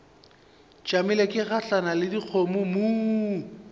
tšamile ke gahlana le dikgomommuu